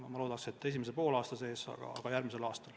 Oleks hea, kui juba esimese poolaasta sees, aga kindlasti järgmisel aastal.